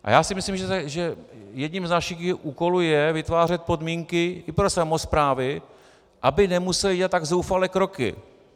A já si myslím, že jedním z našich úkolů je vytvářet podmínky i pro samosprávy, aby nemusely dělat tak zoufalé kroky.